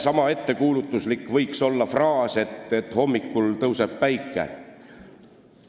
Sama ettekuulutuslik võiks olla fraas, et hommikul tõuseb päike.